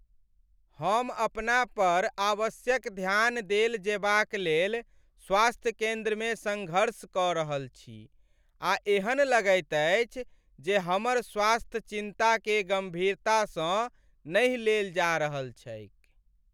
हम अपना पर आवश्यक ध्यान देल जेबाक लेल स्वास्थ्य केन्द्रमे सङ्घर्ष कऽ रहल छी आ एहन लगैत अछि जे हमर स्वास्थ्य चिन्ताकेँ गम्भीरतासँ नहि लेल जा रहल छैक।